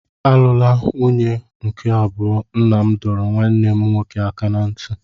Alụla nwunye nke abụọ! Nna m dọrọ nwanne m nwoke aka ná ntị.